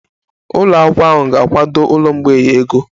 Ụlọ akwụkwọ ahụ ga-akwado ụlọ mgbei ego